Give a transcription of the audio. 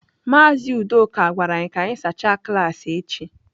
Mazị Udoka gwara anyị ka anyị sachaa klaasị echi